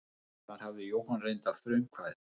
Þar hafði Jóhann reyndar frumkvæðið.